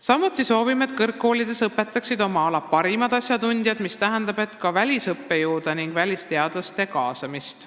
Samuti soovime, et kõrgkoolides õpetaksid oma ala parimad asjatundjad, mis tähendab ka välisõppejõudude ning välisteadlaste kaasamist.